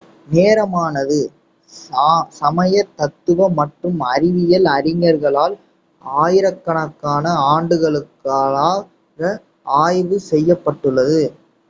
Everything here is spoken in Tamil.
நேரமானது சமய தத்துவ மற்றும் அறிவியல் அறிஞர்களால் ஆயிரக்கணக்கான ஆண்டுகளாக ஆய்வு செய்யப்பட்டுள்ளது